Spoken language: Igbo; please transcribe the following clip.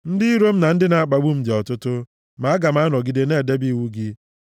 Ndị iro m na ndị na-akpagbu m dị ọtụtụ, ma aga m anọgide na-edebe iwu gị.